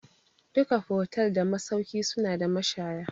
Duka fotel da masauki suna da mashaya